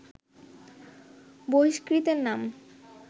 বহিষ্কৃতের নাম